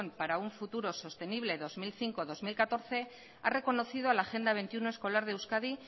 para un futuro sostenible dos mil cinco dos mil catorce ha reconocido a la agenda veintiuno escolar de euskadi